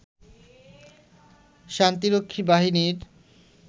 শান্তিরক্ষী বাহিনীর